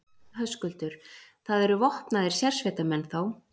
Höskuldur: Það eru vopnaðir sérsveitarmenn, þá?